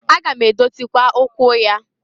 Aga m edozịkwa ụkwụ ya.